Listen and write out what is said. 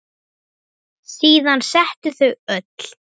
Síðan settust þau öll.